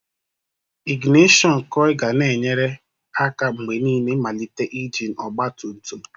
Ignishon koi ga na-enyere aka mgbe niile ịmalite injin ọgba tum tum.